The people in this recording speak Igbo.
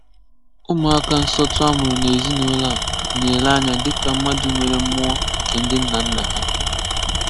Ụmụ́àkà ǹsọ̀tụ̀ á mụrụ̀ ná ezìnúlọ́ á ná-élè ányà dị́kà mmadụ̀ nwerè mmụọ̀ nké ndị̀ nna nná hà.